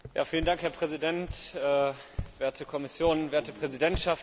Herr Präsident, werte Kommission, werte Präsidentschaft!